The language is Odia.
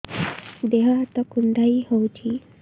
ଦେହ ହାତ କୁଣ୍ଡାଇ ହଉଛି